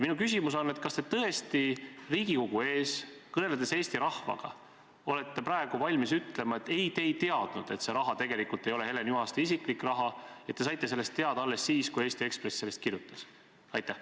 Kas te tõesti Riigikogu ees kõneledes Eesti rahvaga olete praegu valmis ütlema, et ei, te ei teadnud, et see raha tegelikult ei ole Helen Juhaste isiklik raha, ja te saite sellest teada alles siis, kui Eesti Ekspress sellest kirjutas?